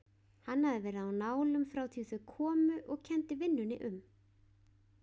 Hann hafði verið á nálum frá því þau komu og kenndi vinnunni um.